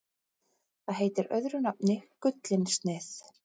Það heitir öðru nafni gullinsnið.